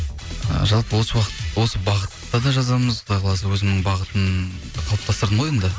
ы жалпы осы осы бағытта да жазамыз құдай қаласа өзімнің бағытымды қалыптастырдым ғой енді